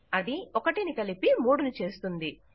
అది ఒకటిని కలిపి 3 ను చేస్తుంది